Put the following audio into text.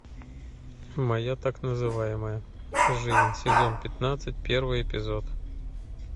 моя так называемая жизнь сезон пятнадцать первый эпизод